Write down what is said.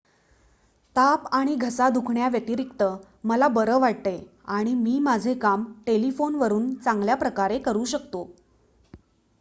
"""ताप आणि घसा दुखण्याव्यतिरिक्त मला बरं वाटतंय आणि मी माझी कामे टेलिफोनवरून चांगल्याप्रकारे करू शकतो.